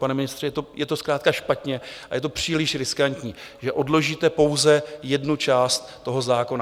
Pane ministře, je to zkrátka špatně a je to příliš riskantní, že odložíte pouze jednu část toho zákona.